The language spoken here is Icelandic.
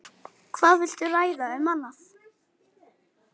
Hvað viltu ræða um annað?